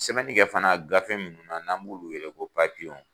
Sɛbɛnni kɛ fana gafe munnu na n'an b'olu yɛlɛ ko papiyew